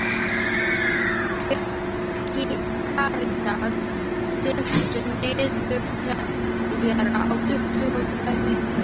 Karitas, stilltu niðurteljara á tuttugu og tvær mínútur.